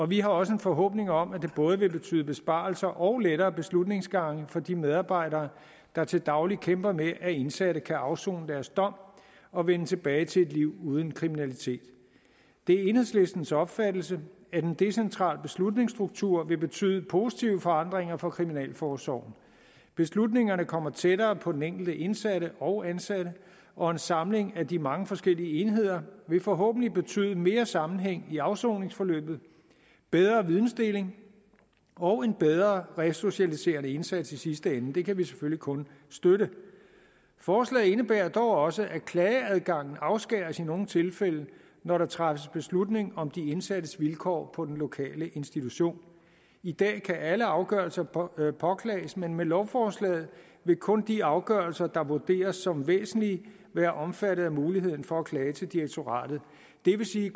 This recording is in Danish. vi har også en forhåbning om at det både vil betyde besparelser og lettere beslutningsgange for de medarbejdere der til daglig kæmper med det at indsatte kan afsone deres dom og vende tilbage til et liv uden kriminalitet det er enhedslistens opfattelse at en decentral beslutningsstruktur vil betyde positive forandringer for kriminalforsorgen beslutningerne kommer tættere på den enkelte indsatte og ansatte og en samling af de mange forskellige enheder vil forhåbentlig betyde mere sammenhæng i afsoningsforløbet bedre videndeling og en bedre resocialiserende indsats i sidste ende og det kan vi selvfølgelig kun støtte forslaget indebærer dog også at klageadgangen afskæres i nogle tilfælde når der træffes beslutning om de indsattes vilkår på den lokale institution i dag kan alle afgørelser påklages påklages men med lovforslaget vil kun de afgørelser der vurderes som væsentlige være omfattet af muligheden for at klage til direktoratet det vil sige